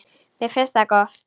Mér finnst það gott.